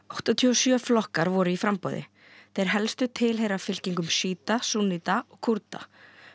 áttatíu og sjö flokkar voru í framboði þeir helstu tilheyra fylkingum sjíta súnníta og Kúrda